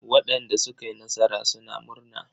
Waɗanda suka yi nasara suna murna.